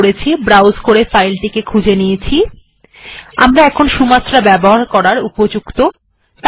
এখন আমরা সুমাত্রা ব্যবহার করার উপযুক্ত